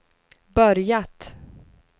börjat